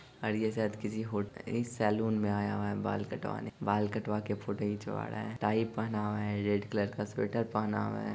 और यह शायद किसी होटल एक सलून में आया हुआ है बाल कटवाने बाल कटवा के फोटो खिचवा रहा है टाई पहना हुआ है रेड कलर का स्वेटर पहना हुआ है।